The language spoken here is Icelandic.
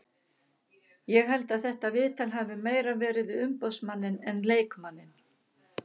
Ég held að þetta viðtal hafi meira verið við umboðsmanninn en leikmanninn.